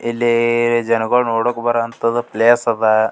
ಇಲ್ಲಿ ಜನಗೂಳ್ ನೋಡಕ್ ಬರುವಂತದು ಪ್ಲೇಸ್ ಅದ್ .